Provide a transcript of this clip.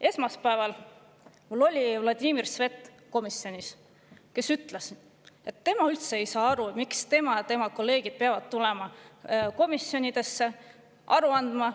Esmaspäeval oli mul komisjonis aga Vladimir Svet, kes ütles, et ta ei saa üldse aru, miks tema ja tema kolleegid peavad tulema komisjonidesse aru andma.